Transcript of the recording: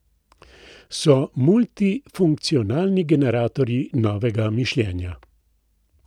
So multifunkcionalni generatorji novega mišljenja.